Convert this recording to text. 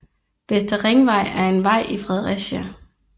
Vestre Ringvej er en vej i Fredericia